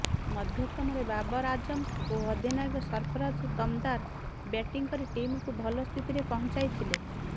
ମଧ୍ୟକ୍ରମରେ ବାବର ଆଜମ ଓ ଅଧିନାୟକ ସର୍ଫରାଜ ଦମଦାର ବ୍ୟାଟିଂ କରି ଟିମକୁ ଭଲ ସ୍ଥିତିରେ ପହଞ୍ଚାଇଥିଲେ